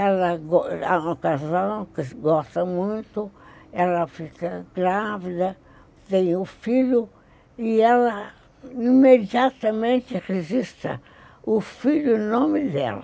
Ela é uma casal que gosta muito, ela fica grávida, tem um filho, e ela imediatamente registra o filho e no nome dela.